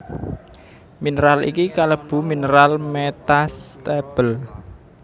Mineral iki kalebu mineral metastable